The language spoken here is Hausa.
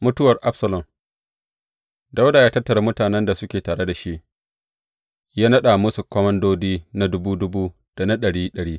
Mutuwar Absalom Dawuda ya tattara mutanen da suke tare da shi, ya naɗa musu komandodi na dubu dubu, da na ɗari ɗari.